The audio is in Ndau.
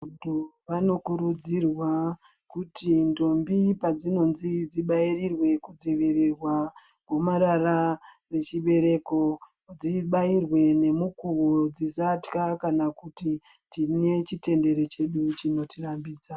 Vantu vano kurudzirwa kuti ndombi padzinonzi dzi bairirwe ku dzivirirwa gumarara re chibereko dzibairwe ne mukuvo dzisatya kana kuti tine chitendere chedu chinoti rambidza.